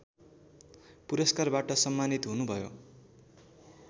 पुरस्कारबाट सम्मानित हुनुभयो